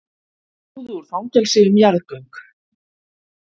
Flúðu úr fangelsi um jarðgöng